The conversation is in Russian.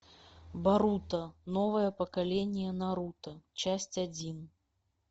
боруто новое поколение наруто часть один